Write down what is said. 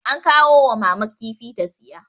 an kawo wa mama kifi ta siya